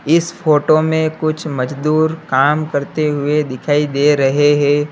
इस फोटो में कुछ मजदूर काम करते हुए दिखाई दे रहे हैं।